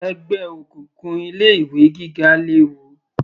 Ẹgbẹ́ òkùnkùn ilé ìwé gíga léwu